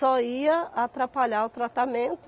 ia atrapalhar o tratamento.